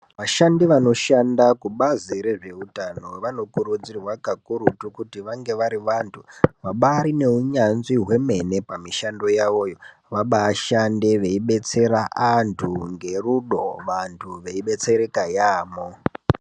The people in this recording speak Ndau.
Vashandi vanoshanda kubazi rezveutanl vanokurudzirwa pakurutu kuti vange bari vantu vabari neunyanzvi hwemene pamushando yavoyo vabashande veidetsera antu ngerudo vantu veidetsereka yaamho.